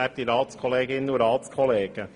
Kommissionspräsident der FiKo.